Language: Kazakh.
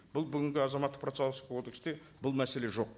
бұл бүгінгі азаматтық бұл мәселе жоқ